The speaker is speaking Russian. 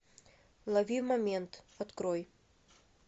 лови момент открой